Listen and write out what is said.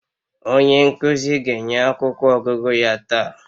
Onye nkuzi ga-enye akwụkwọ ọgụgụ ya taa